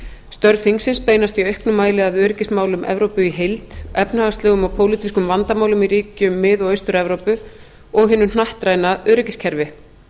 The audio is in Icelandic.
störf þingsins beinast í auknum mæli að öryggismálum evrópu í heild efnahagslegum og pólitískum vandamálum í ríkjum mið og austur evrópu og hinu hnattræna öryggiskerfi